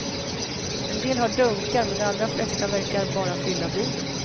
En del har dunkar, men de allra flesta verkar bara fylla bilen.